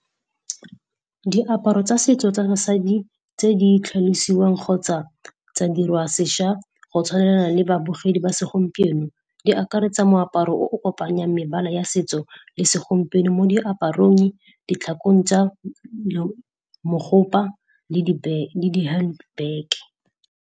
Diaparo tsa setso tsa basadi tse di tlhalosiwang kgotsa tsa dirwa seša go tshwanela le babogedi ba segompieno, di akaretsa moaparo o o kopanyang mebala ya setso le segompieno mo diaparong, ditlhakong tsa mogopa le di hand bag.